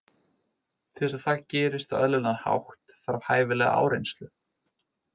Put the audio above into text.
Til þess að það gerist á eðlilegan hátt þarf hæfilega áreynslu.